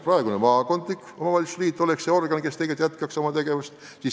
Praegune maakondlik omavalitsusliit võib jätkata oma tegevust.